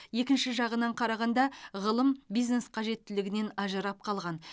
екінші жағынан қарағанда ғылым бизнес қажеттілігінен ажырап қалған